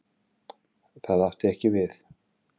Það átti ekki við.